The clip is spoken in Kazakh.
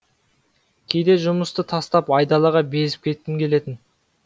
кейде жұмысты тастап айдалаға безіп кеткім келетін